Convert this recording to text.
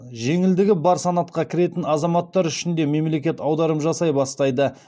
жеңілдігі бар санатқа кіретін азаматтар үшін де мемлекет аударым жасай бастайды